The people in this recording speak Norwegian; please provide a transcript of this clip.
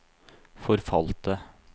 forfalte